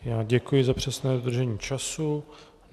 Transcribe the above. Já děkuji za přesné dodržení času.